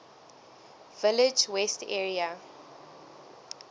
village west area